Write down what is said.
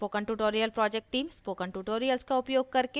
spoken tutorial project team spoken tutorials का उपयोग करके कार्यशालाएं चलाती है